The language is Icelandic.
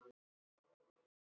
Þær sváfu í kojum.